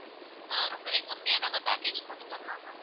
ஆஹ் ரொம்பவே கம்மியா நாங்க package போட்டு தரலாம் ma'am